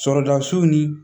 Sɔrɔda so ni